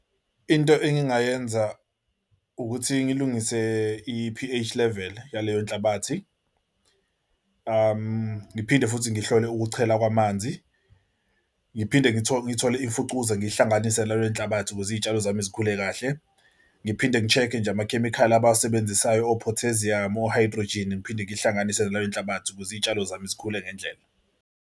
Into engingayenza ukuthi ngilungise i-P_H level yaleyo nhlabathi, ngiphinde futhi ngihlole ukuchela kwamanzi, ngiphinde ngithole ngithole imfucuza, ngiyihlanganise nalo nenhlabathi ukuze izitshalo zami zikhule kahle. Ngiphinde ngi-check-e nje amakhemikhali abawusebenzisayo o-potassium o-hydrogen. Ngiphinde ngihlanganise nalawo nenhlabathi ukuze izitshalo zami zikhule ngendlela.